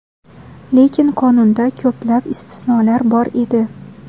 Lekin qonunda ko‘plab istisnolar bor edi.